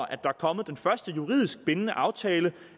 er kommet den første juridisk bindende aftale